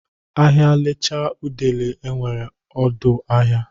Ahịa lachaa udele enwere ọdụ ahịa.